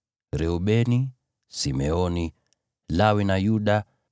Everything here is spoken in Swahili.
Reubeni, Simeoni, Lawi na Yuda;